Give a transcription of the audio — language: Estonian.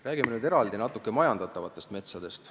Räägime nüüd majandatavatest metsadest.